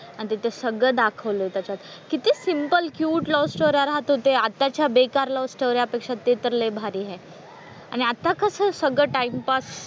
आणि तिथे सगळं दाखवलंय त्याच्यात. किती सिम्पल, क्युट लव्ह स्टोऱ्या राहत होते. आताच्या बेकार लव्ह स्टोऱ्यापेक्षा तर लय भारी आहे. आणि आता कसं सगळं टाईमपास,